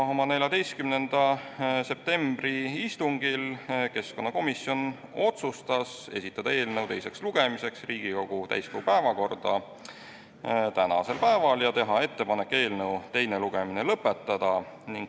14. septembri istungil otsustas keskkonnakomisjon esitada eelnõu teiseks lugemiseks Riigikogu täiskogu päevakorda tänaseks päevaks ja teha ettepanek eelnõu teine lugemine lõpetada.